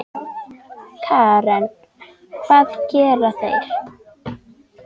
Karen: Hvað gera þeir?